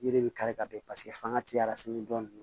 Yiri bɛ kari ka bɛn paseke fanga ti arasan dɔ